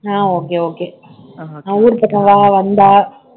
அஹ் okay okay நான் ஊர் பக்கம் வா வந்தா